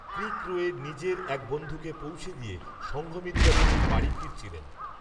ক্রিক রোএ, নিজের, এক বন্ধুকে পৌঁছে দিয়ে, সঙ্ঘমিত্রাদেবী বাড়ি, ফিরছিলেন